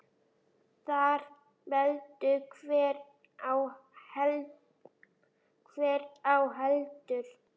Þar veldur hver á heldur.